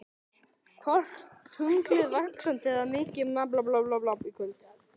Hvort er tunglið vaxandi eða minnkandi í kvöld?